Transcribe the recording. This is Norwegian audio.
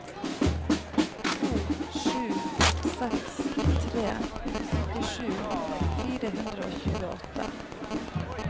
to sju seks tre syttisju fire hundre og tjueåtte